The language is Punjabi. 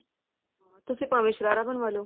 ਹਾਂ ਤੁਸੀਂ ਭਾਵੇਂ ਸ਼ਰਾਰਾ ਬਣਵਾਲੋ